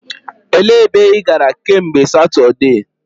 E lee ebe ị gara kemgbe Satudee?